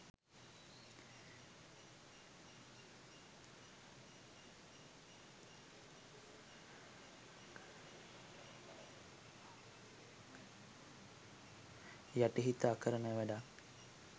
යටිහිත අකරණ වැඩක්.